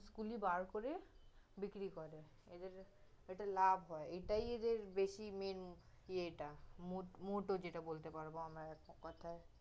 গুলি বার করে বিক্রি করে, এদের, এটা লাভ হয়, এটাই ওদের বেশি main ইয়ে টা, মোট, মোটও যেটা বলতে পারব আমরা এক কথায়